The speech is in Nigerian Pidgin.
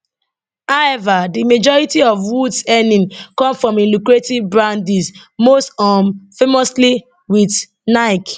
however di majority of woods earnings come from im lucrative brand deals most um famously wit nike